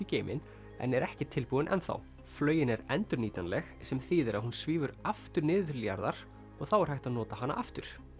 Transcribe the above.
geiminn en er ekki tilbúin flaugin er endurnýtanleg sem þýðir að hún svífur aftur niður til jarðar og þá er hægt að nota hana aftur